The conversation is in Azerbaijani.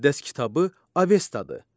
Müqəddəs kitabı Avestadır.